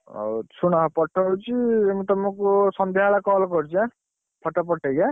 ହଉ ଶୁଣ ପଠଉଛି ମୁ ତମକୁ ସନ୍ଧ୍ୟା ବେଳେ call କରୁଛି ଏଁ photo ପଠେଇକି ଏନ।